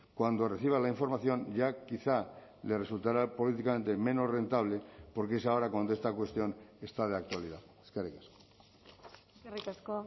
cuando reciba la información ya quizá le resultará políticamente menos rentable porque es ahora cuando esta cuestión está de actualidad eskerrik asko eskerrik asko